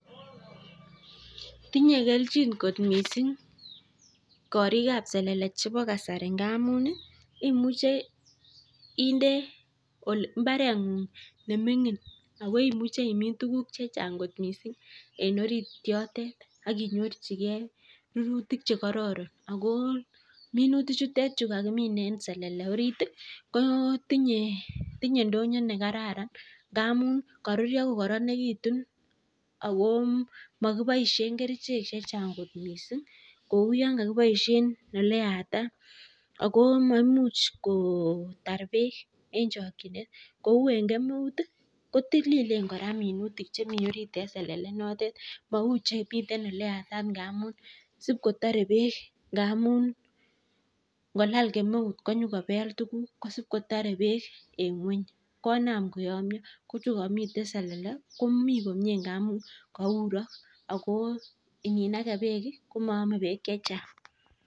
Tinye kelchin kot mising korik ab selele chebo kasari ngamun imuche inde mbareng'ung ne ming'in ago imuche imin tuguk che chang kot mising en orit yotet. Ak inyorjige rurutik che kororon ago minutik chutet che kagimin en selele orit kotinye ndonyo ne kararan, ngamun koruryo ko koronegitun ago mokiboishen kerichek che chang kot mising kou yon kogiboishen ele yatat ago mamuch kotar beek en chokinet kou en kemeut ko tililen kora minutik chemi orit en selele inotet mouchemiten ole yatat ng'amun sib kotore beek ngamun ngolal kemeut konyokobel tuguk kosib kotore beek en ng'weny konam koyomnyo ko chukomiten selele komi komie ngamun kourok ago ininage beek komoome beek che chang.